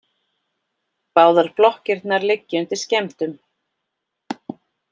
Báðar blokkirnar liggja undir skemmdum